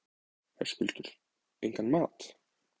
Höskuldur: Engan mat?